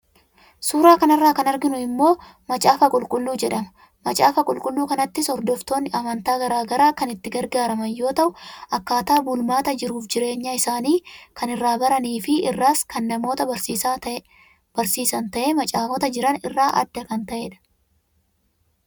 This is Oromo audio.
Suuraa kanarraa kan arginu kun immoo macaafa qulqulluu jedhama. Macaafa qulqulluu kanattis hordoftoonni amantaa garaagaraa kan itti gargaaraman yeroo tahu akkaataa bulmaata jiruuf jireenya isaanii kan irraa baranii fi irraas kana namoota barsiisa tahee macaafota jiran irraa adda kan taheedha.